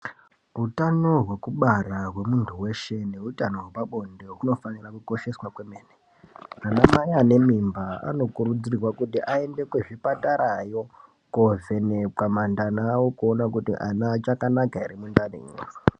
Utano hwekubara hwemunthu weshe. neutano hwepabonde hunofanira kukosheswa kwemene ana mai ane mimba anokurudzirwa kuti aende kuzvipatarao kovhenekwa mandani awo kuona kuti ana achakanaka ere mundanimwo.